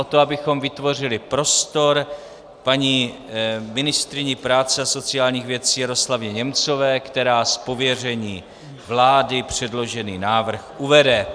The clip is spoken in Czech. O to, abychom vytvořili prostor paní ministryni práce a sociálních věcí Jaroslavě Němcové, která z pověření vlády předložený návrh uvede.